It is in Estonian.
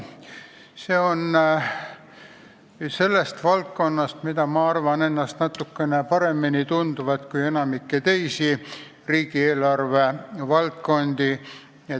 See puudutab valdkonda, mida ma arvan ennast natuke paremini tundvat kui enamikku teisi riigieelarve valdkondi.